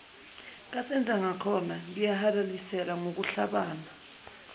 kasenzangakhona ngiyakuhalalisela ngokuhlabana